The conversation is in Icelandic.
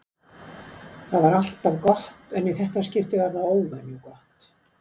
Það var alltaf gott en í þetta skipti var það óvenju gott.